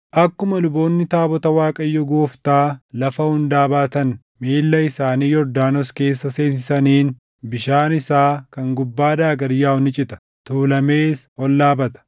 Akkuma luboonni taabota Waaqayyo Gooftaa lafa hundaa baatan miilla isaanii Yordaanos keessa seensisaniin, bishaan isaa kan gubbaadhaa gad yaaʼu ni cita; tuulamees ol dhaabata.”